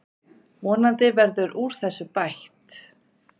Vonandi verður úr þessu bætt.